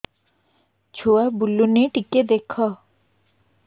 ଛୁଆ ବୁଲୁନି ଟିକେ ଦେଖ